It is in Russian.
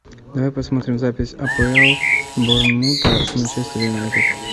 давай посмотрим запись апл борнмута с манчестер юнайтед